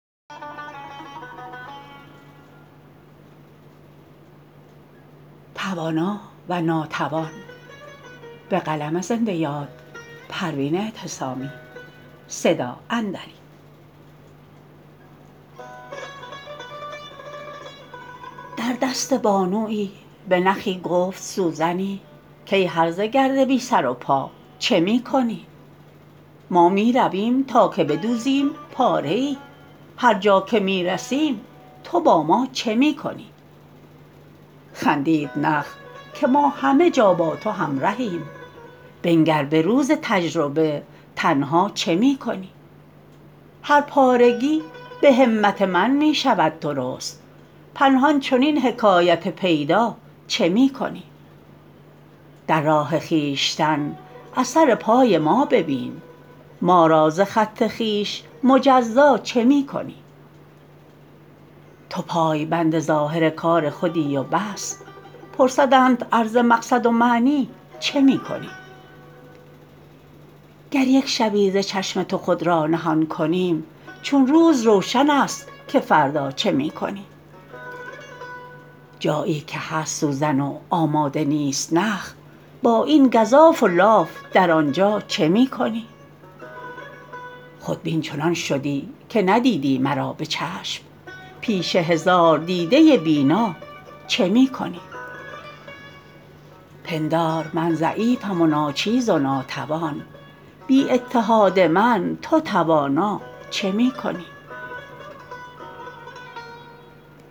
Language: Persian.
در دست بانویی به نخی گفت سوزنی کای هرزه گرد بی سر و بی پا چه می کنی ما میرویم تا که بدوزیم پاره ای هر جا که میرسیم تو با ما چه می کنی خندید نخ که ما همه جا با تو همرهیم بنگر به روز تجربه تنها چه می کنی هر پارگی به همت من میشود درست پنهان چنین حکایت پیدا چه می کنی در راه خویشتن اثر پای ما ببین ما را ز خط خویش مجزا چه می کنی تو پایبند ظاهر کار خودی و بس پرسندت ار ز مقصد و معنی چه می کنی گر یک شبی ز چشم تو خود را نهان کنیم چون روز روشن است که فردا چه می کنی جایی که هست سوزن و آماده نیست نخ با این گزاف و لاف در آنجا چه می کنی خودبین چنان شدی که ندیدی مرا بچشم پیش هزار دیده بینا چه می کنی پندار من ضعیفم و ناچیز و ناتوان بی اتحاد من تو توانا چه می کنی